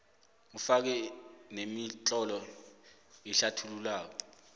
ufake nemitlolo ehlathulula